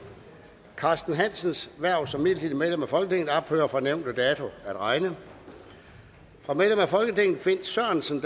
carsten hansens hverv som midlertidigt medlem af folketinget ophører fra nævnte dato at regne fra medlem af folketinget finn sørensen